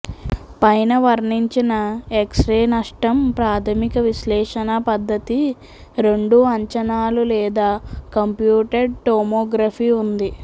పైన వర్ణించిన ఎక్స్రే నష్టం ప్రాథమిక విశ్లేషణ పద్ధతి రెండు అంచనాలు లేదా కంప్యూటెడ్ టోమోగ్రఫీ ఉంది